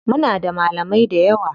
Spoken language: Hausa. Muna da malamai dayawa.